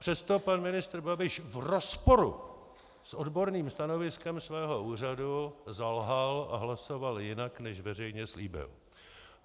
Přesto pan ministr Babiš v rozporu s odborným stanoviskem svého úřadu zalhal a hlasoval jinak, než veřejně slíbil.